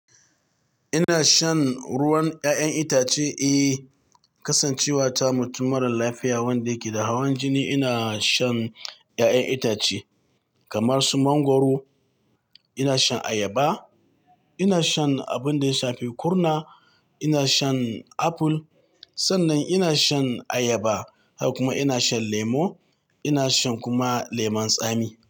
Ina shan ruwan ƴaƴan itace, eh, Kasancewa ta mutum mara lafiya wanda yake da hawan jini. Ina shan ƴaƴan itace kamar su mangwaro, ina shan ayaba, ina shan abin da ya shafi kurna, ina shan aful. Sannan ina shan ayaba, haka kuma ina shan lemo, ina shan kuma lemun tsami.